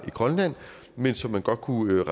men som man godt kunne